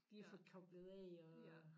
Lige at få koblet af og